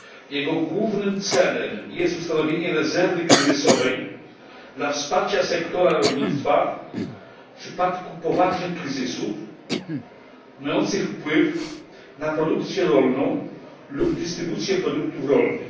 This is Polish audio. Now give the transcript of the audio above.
Jego głównym celem jest ustanowienie rezerwy kryzysowej dla wsparcia sektora rolnictwa w przypadku poważnych kryzysów mających wpływ na produkcję rolną lub dystrybucję produktów rolnych.